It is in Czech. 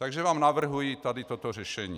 Takže vám navrhuji tady toto řešení.